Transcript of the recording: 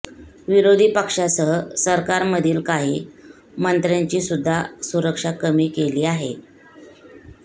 विरोधी पक्षासह सरकारमधील काही मंत्र्यांची सुद्धा सुरक्षा कमी केली आहे